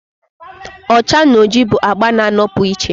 ọcha na oji bụ agba na-anọpụ iche